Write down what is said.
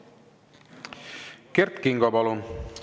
Kert Kingo, palun!